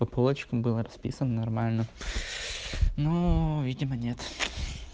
по полочкам было расписано нормально ну видимо нет